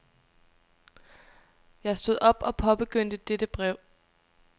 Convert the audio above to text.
Jeg stod op og påbegyndte dette brev.